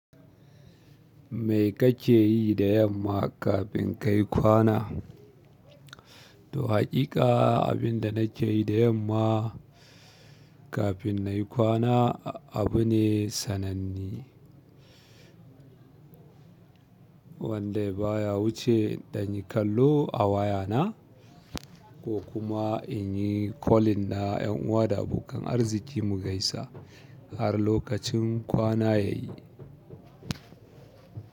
Me kake yi da yamma kafin kayi kwana? To haƙiƙa abin da nake yi da yamma kafin nayi kwana abu ne sananne wanda baya wuce ɗan yi kallo a wayana ko kuma in yi kolin na ƴan uwa da abokan arziki mu gaisa har lokacin kwana ya yi.